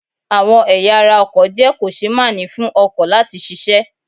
Àwọn ẹ̀ya ara ọkọ̀ jẹ́ kò-ṣe-máà-ní fún ọkọ̀ láti ṣiṣẹ́.